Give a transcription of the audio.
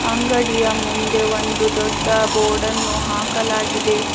ಅಂಗಡಿಯ ಮುಂದೆ ಒಂದು ದೊಡ್ಡ ಬೋರ್ಡನ್ನು ಹಾಕಲಾಗಿದೆ.